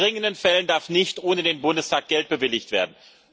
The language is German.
In dringenden Fällen darf nicht ohne den Bundestag Geld bewilligt werden.